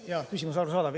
Jaa, küsimus on arusaadav.